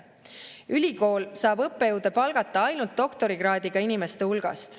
Ülikool saab õppejõude palgata ainult doktorikraadiga inimeste hulgast.